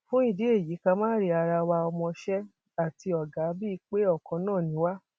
fún ìdí èyí ká máa rí ara wa ọmọọṣẹ àti ọgá bíi pé ọkan náà ni wá